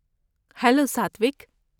ہیلوساتوک!